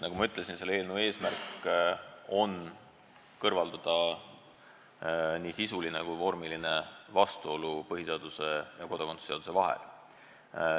Nagu ma ütlesin, eelnõu eesmärk on kõrvaldada nii sisuline kui vormiline vastuolu põhiseaduse ja kodakondsuse seaduse vahel.